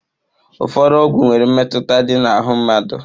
Ụfọdụ ọgwụ nwere mmetụta dị na ahụ mmadụ.